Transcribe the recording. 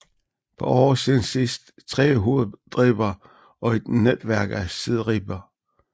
På oversiden ses tre hovedribber og et netværk af sideribber